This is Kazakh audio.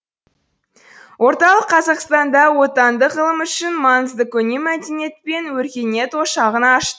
орталық қазақстанда отандық ғылым үшін маңызды көне мәдениет пен өркениет ошағын аш